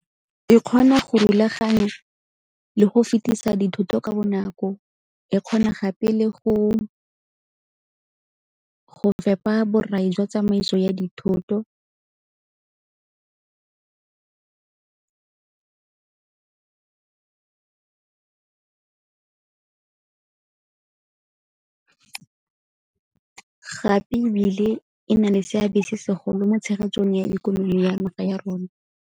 E kgona go rulaganya le go fetisa dithoto ka bonako, e kgona gape le go fepa borai jwa tsamaiso ya dithoto, gape ebile e na le seabe se segolo mo tshegetsong ya ikonomi ya naga ya rona.